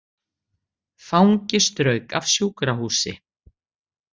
Fangi strauk af sjúkrahúsi